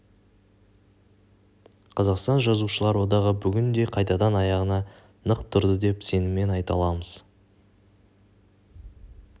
қазақстан жазушылар одағы бүгін де қайтадан аяғынан нық тұрды деп сеніммен айта аламыз